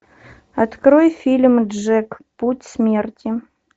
открой фильм джек путь смерти